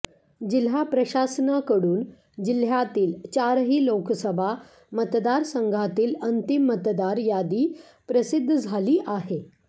जिल्हा प्रशासनाकडून जिल्ह्यातील चारही लोकसभा मतदारसंघातील अंतिम मतदार यादी प्रसिद्ध झाली आहे